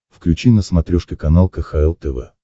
включи на смотрешке канал кхл тв